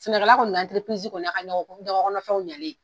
Sɛnɛkɛla kɔni kɔni y'a ka ɲɔkɔkɔnɔfɛnw ɲalen ye.